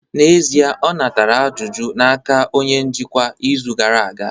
N'ezie, ọ natara ajụjụ n'aka onye njikwa izu gara aga